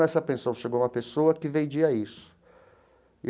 Nessa pensão chegou uma pessoa que vendia isso e.